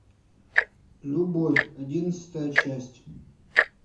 любовь одиннадцатая часть